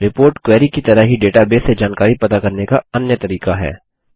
report query की तरह ही डेटाबेस से जानकारी पता करने का अन्य तरीका है